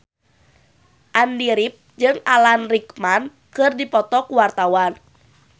Andy rif jeung Alan Rickman keur dipoto ku wartawan